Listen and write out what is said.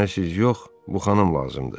Mənə siz yox, bu xanım lazımdır.